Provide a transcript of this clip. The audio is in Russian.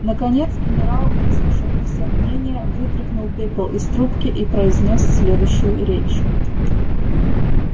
наконец генерал выслушав все мнения вытряхнул пепел из трубки и произнёс следующую речь